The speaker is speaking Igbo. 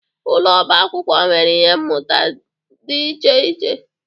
Ụlọ ọba akwụkwọ nwere ihe mmụta dị iche iche.